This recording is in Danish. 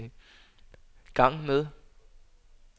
gang med